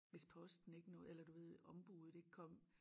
Hvis posten ikke nåede eller du ved ombuddet ikke kom